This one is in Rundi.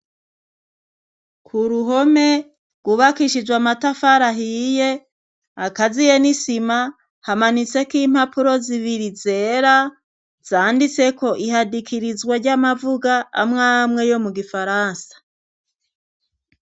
Ku ruhome rwubakishijwe amatafari ahiye, akaziye n'isima, hamanitseko impapuro zibiri zera, zanditseko ihadikirizwa ry'amavuga amwe amwe yo mu gifaransa.